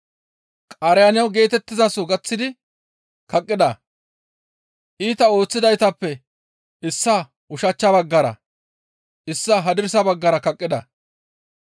Qaaraniyo geetettizaso gaththidi kaqqida; iita ooththidaytappe issaa ushachcha baggara, issaa hadirsa baggara kaqqida.